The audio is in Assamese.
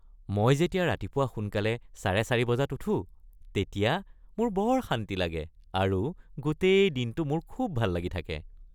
মই যেতিয়া ৰাতিপুৱা সোনকালে ৪:৩০ বজাত উঠোঁ তেতিয়া মোৰ বৰ শান্তি লাগে আৰু গোটেই দিনটো মোৰ খুব ভাল লাগি থাকে।